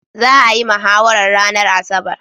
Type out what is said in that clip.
Za'a yi mahawarar ranar asabar.